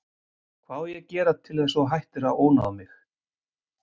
Hvað á ég að gera til að þú hættir að ónáða mig?